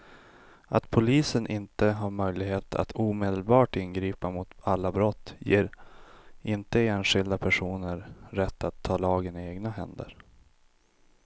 Att polisen inte har möjlighet att omedelbart ingripa mot alla brott ger inte enskilda personer rätt att ta lagen i egna händer.